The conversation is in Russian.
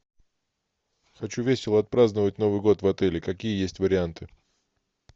хочу весело отпраздновать новый год в отеле какие есть варианты